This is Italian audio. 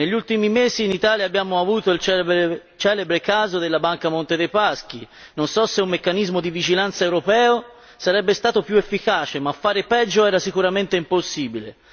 Negli ultimi mesi in Italia abbiamo avuto il celebre caso della banca Monte dei Paschi, non so se un meccanismo di vigilanza europeo sarebbe stato più efficace, ma fare peggio era sicuramente impossibile.